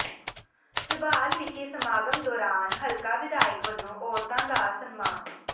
ਝਬਾਲ ਵਿਖੇ ਸਮਾਗਮ ਦੌਰਾਨ ਹਲਕਾ ਵਿਧਾਇਕ ਵੱਲੋਂ ਔਰਤਾਂ ਦਾ ਸਨਮਾਨ